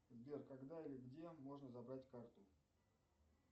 сбер когда и где можно забрать карту